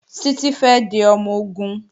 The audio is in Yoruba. Títí fẹ́ di ọmọ-ogun